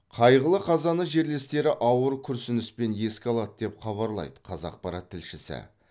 қайғылы қазаны жерлестері ауыр күрсініспен еске алады деп хабарлайды қазақпарат тілшісі